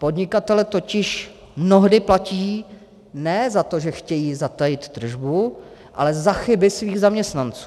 Podnikatelé totiž mnohdy platí ne za to, že chtějí zatajit tržbu, ale za chyby svých zaměstnanců.